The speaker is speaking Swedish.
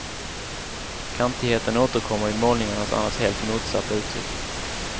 Kantigheten återkommer i målningarnas annars helt motsatta uttryck.